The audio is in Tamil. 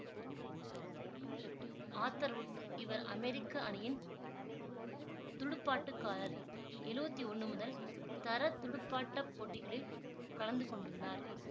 ஆத்தர் வூட் இவர் அமெரிக்க அணியின் துடுப்பாட்டக்காரர் எழுவத்தி ஒன்னு முதல்தர துடுப்பாட்ட போட்டிகளில் கலந்து கொண்டுள்ளார்